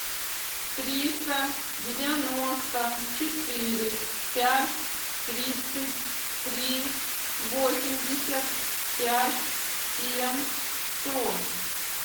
триста девяносто четыре пять тридцать три восемьдесят пять семь сто